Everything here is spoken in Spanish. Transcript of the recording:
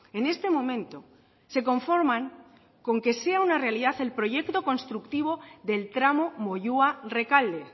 en este momento se conforman con que sea una realidad el proyecto constructivo del tramo moyua rekalde